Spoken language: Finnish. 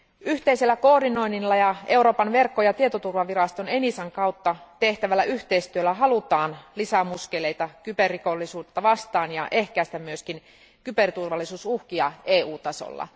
Yhteisellä koordinoinnilla ja Euroopan verkko ja tietoturvaviraston Enisan kautta tehtävällä yhteistyöllä halutaan lisää muskeleita kyberrikollisuutta vastaan ja ehkäistä myös kyberturvallisuusuhkia EU tasolla.